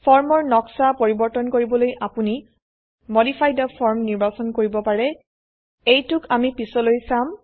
form ৰ নকশা পৰিবৰ্তন কৰিবলৈ আপোনি মডিফাই থে ফৰ্ম নিৰ্বাচন কৰিব পাৰে এইটোক আমি পিছলৈ চাম